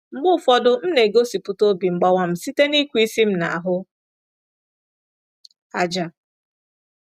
Mgbe ụfọdụ, m na-egosipụta obi mgbawa m site n’ịkụ isi m n'ahụ ájá.